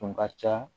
Tun ka ca